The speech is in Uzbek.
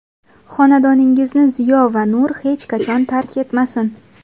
Xonadoningizni ziyo va nur hech qachon tark etmasin.